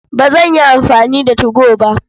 Ba zan yi amfani da 2go ba.